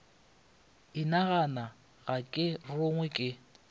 inagana ga ke rogwe ke